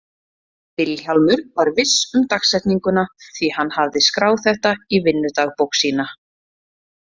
Vilhjálmur var viss um dagsetninguna, því hann hafði skráð þetta í vinnudagbók sína.